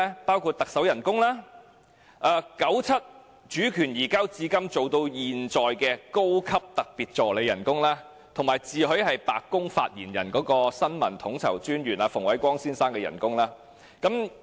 包括行政長官薪酬、由九七主權移交一直任職至今的高級特別助理的薪酬，以及自詡香港"白宮發言人"的新聞統籌專員馮煒光先生的薪酬。